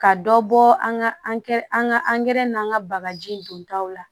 Ka dɔ bɔ an ka an ka angɛrɛ n'an ka bagaji don taw la